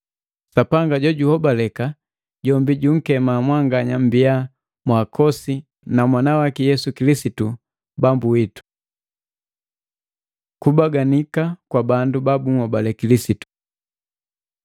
Sapanga jojuhobaleka, jombi junkema mwanganya mmbiya mwaakosi na Mwana waki Yesu Kilisitu Bambu witu. Kubaganika kwa bandu babuhobale Kilisitu